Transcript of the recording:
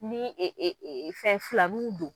Ni fɛn filaniw don,